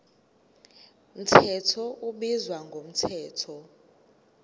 mthetho ubizwa ngomthetho